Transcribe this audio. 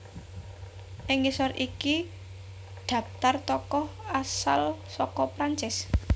Ing ngisor iki dhaptar tokoh asal saka Prancis